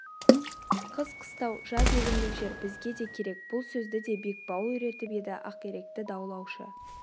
қыс қыстау жаз егіндік жер бізге де керек бұл сөзді де бекбауыл үйретіп еді ақиректі даулаушы